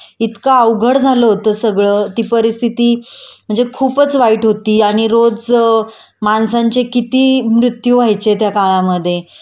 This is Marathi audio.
इतकं अवघड झालं होत सगळं कि परिस्थिती म्हणजे खूपच वाईट होती.आणि रोज माणसांचे किती मृत्यू व्हायचे त्या काळामध्ये